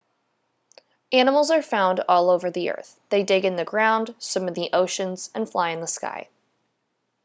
animals are found all over the earth they dig in the ground swim in the oceans and fly in the sky